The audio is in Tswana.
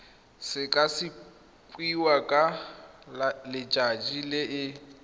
sekasekiwa ka letsatsi le e